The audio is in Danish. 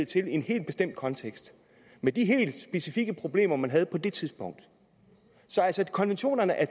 til i en helt bestemt kontekst med de helt specifikke problemer man havde på det tidspunkt så konventionerne er